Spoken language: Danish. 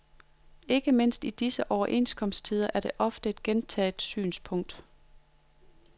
Ikke mindst i disse overenskomsttider er det et ofte gentaget synspunkt.